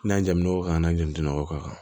N'an jantolon kan an n'an janto ka kan